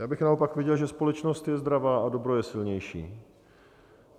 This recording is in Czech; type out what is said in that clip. Já bych naopak viděl, že společnost je zdravá a dobro je silnější.